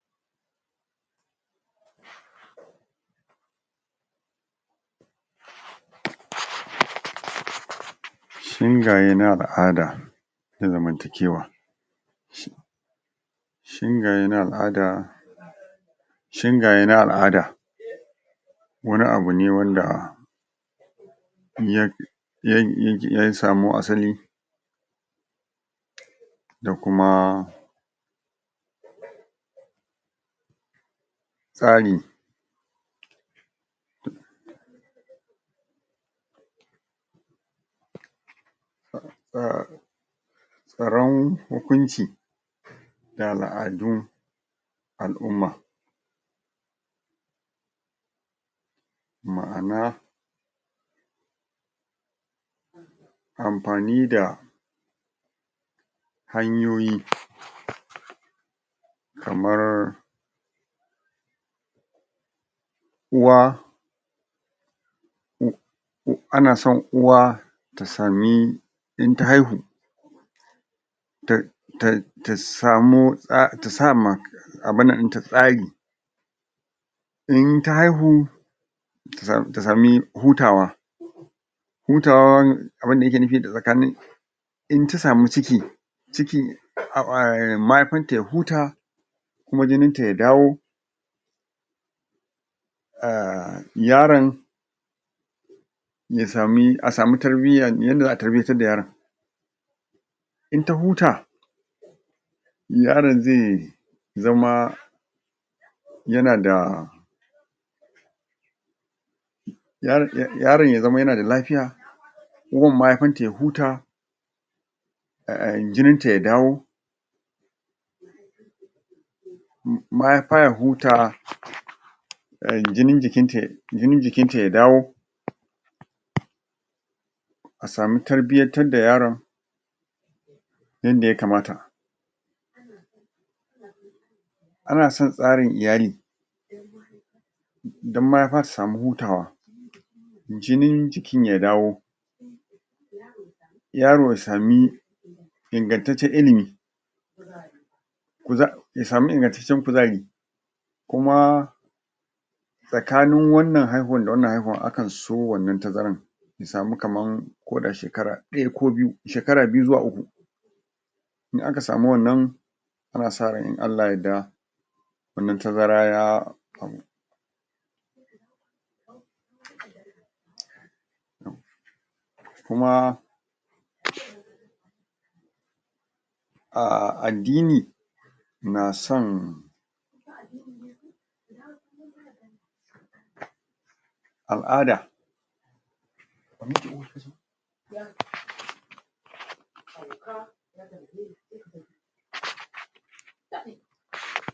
Shingaye na al'ada ga zamantakewa shingaye na al'ada shingaye na al'ada wani abu ne wanda ya ya aya samo asali da kuma tsari tsaron hukunci da al'adun al'umma ma'ana amfani da hanyoyi kamar uwa u ana son uwa ta sami in ta haihu ta ta ta sa ma ta sama abin nan ɗinta tsari in ta haihu tasa mu tasamu hutawa hutawa abinda ake nufi tsakani in ta samu ciki ciki mahaifanta ya huta kuma jininta ya dawo a yaron ya samu aa samu tarbiyya yanayin da za a tarbiyyantar da yaron in ta huta yaron zai zama yana da yaron ya zama yana da lafiya uwar mahaifarta ya huta a a jinita ya dawo mahaifa ya huta jijin jikinta ya dawo a samu tarbiyyantar da yaron abinda ya kamata ana son tsarin iyali dan mahaifa ta samu hutawa jinin jikin ya dawo yaro ya samu ingantaccen ilimi ku za ya sami ingantaccen kuzari kuma tsakanin wannan haihuwan da wannan haihuwan akanso wannan tazaran a samu kamar koda shekara ɗaya ko biyu a samau kamar shekara uku in aka samu wannan ana saran in Allah ya yarda wannan tazara ya kuma a addimni na son al'ada